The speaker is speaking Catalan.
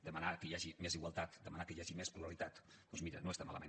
demanar que hi hagi més igualtat demanar que hi hagi més pluralitat doncs mira no està malament